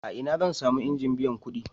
A ina zan sami injin biyan kuɗi?